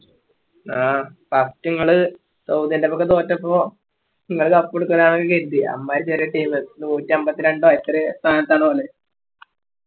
ആ first ഇങ്ങള് സൗദിൻറെക്കെപ്പോ തോറ്റപ്പോ ഇങ്ങള് cup എടുക്കൂലന്നൊക്കെയ കരുതിയെ അമ്മാരി ചെറിയ team നൂറ്റമ്പത്രണ്ട എത്രയോ സ്ഥാനത്താണ് വന്നെ